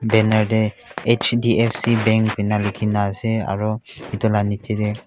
banner te hdfc bank eninka lekhi ase aru etu laga niche te--